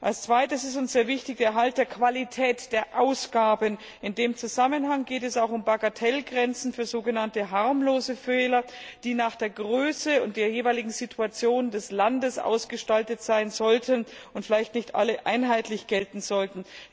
Auf der anderen Seite ist uns die Erhaltung der Qualität der Ausgaben sehr wichtig. In dem Zusammenhang geht es auch um Bagatellgrenzen für so genannte harmlose Fehler, die nach der Größe und der jeweiligen Situation des Landes ausgestaltet sein und vielleicht nicht alle einheitlich gelten sollten.